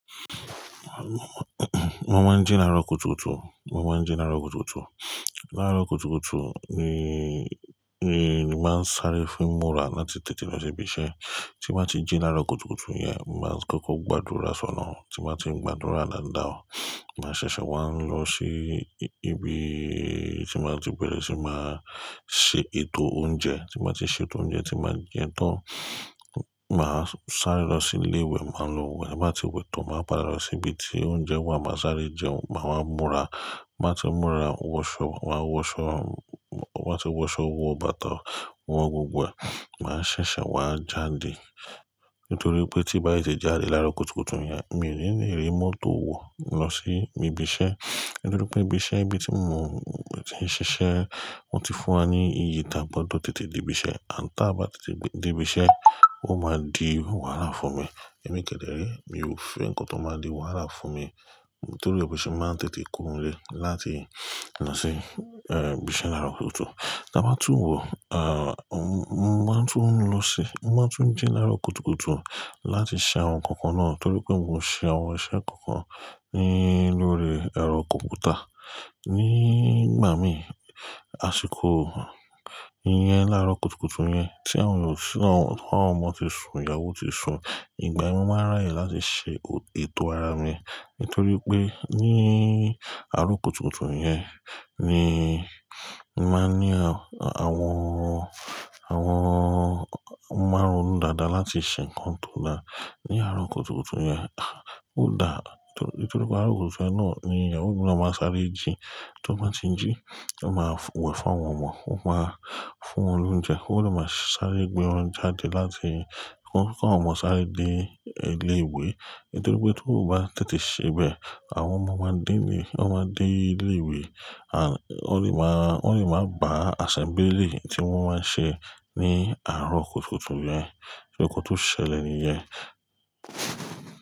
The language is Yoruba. Mo máa ń jí lárò kùtùkùtù, mo máa ń jí lárò kùtùkùtù. Lárò kùtùkùtù ni, ni mo máa ń sáré fún múra láti tètè lọ sí ibi iṣẹ́. Tí mo bá ti jí lárò kùtùkùtù yẹn, mo máa ń kọ́kọ́ gbàdúrà sọ́lọ́run Tí mo bá ti gbàdúrà dáadáa, màá ṣẹ̀ṣẹ̀ wá lọ sí ibi tí mo bá ti bẹ̀rẹ̀ sí máa ṣe ètò oúnjẹ. Tí mo bá ti ṣe ètò oúnjẹ tí màá jẹ tán, màá sáré lọ sí ilé ìwẹ̀, màá lo wẹ̀. Bá ti wẹ̀ tán, màá padà lọ sí ibi tí oúnjẹ wà, màá sáré jẹ, màá wá múra. Mo bá ti múra, wọṣọ, wa á wọṣọ, wa á ti wọṣọ, wọ́ bàtá, wo gbogbo wẹ̀, màá ṣẹ̀ṣẹ̀ wá jáde. Nítorí pé tí n bá tètè jáde lárò kùtùkùtù yẹn, mi ò ní lè rí mọ́tò wọ̀ lọ sí ibi iṣẹ́. Nítorí pé ibi iṣẹ́ ibi tí mo ti ń ṣiṣẹ́ wọ́n ti fún wa ní ìyè tí a gbọdọ̀ tètè dé ibi iṣẹ́. À tá bá tètè dé ibi iṣẹ́ ó máa di wàhálà fún mi. Ẹ̀mi kẹ̀dẹ̀ré ré, mi ò fẹ́ nǹkan tó máa di wàhálà fún mi. Nítorí ẹ̀ ni mo se máa ń tètè kórè láti lọ sí, eñ, ibi iṣẹ́ lárò kùtùkùtù. Tí a bá tún wo, à, mo máa ń tún lọ sí-- mo máa ń tún jí lárò kùtùkùtù láti ṣe àwọn ǹkan kan náà. Nítorí pé mo ṣe àwọn iṣẹ́ kan kan ní lórí ẹ̀rọ kọ̀m̀pútà nígbà mí ì àsìkò iyẹn lárò kùtùkùtù yẹn tí àwọn ọ̀sìnà, àwọn ọmọ ti sun, ìyàwó ti sun. Ìgbà yẹn mó máa rí àyè láti ṣe ètò ara mi. Nítorí pé ní àárọ̀ kùtùkùtù yẹn ni mo máa ń ní àwọn, àwọn, àwọn mo má n ronú dada láti ṣe nǹkan tó dára. Ní àárọ̀ kùtùkùtù yẹn, ó da. Nítorí pé àárọ̀ kùtùkùtù yẹn náà ni ìyàwó mi máa ń sáré jí. Tí wọ́n bá ti jí, wọ́n máa wẹ̀ fún àwọn ọmọ, wọ́n máa fún wọn lóúnjẹ. Ó lè máa sáré gbé wọn jáde láti kó àwọn ọmọ sáré dé ilé ìwé. Nítorí pé tí kò bá tètè ṣe bẹ́ẹ̀, àwọn ọmọ máa dé ní, wọ́n máa dé ilé ìwé. À, wọ́n lè máa, wọ́n lè máa bá àsẹ́mbílì tí wọ́n máa ń ṣe ní àárọ̀ kùtùkùtù yẹn. Ǹkan tó ṣẹlẹ̀ nìyẹn?